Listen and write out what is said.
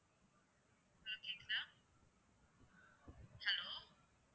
hello கேட்குதா hello